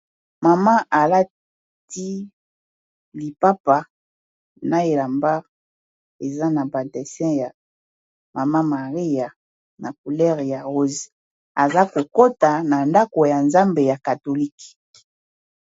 Maman alati lipapa na elamba eza na ba desin ya maman Maria na couleur ya rose aza kokota na ndako ya Nzambe ya catholique.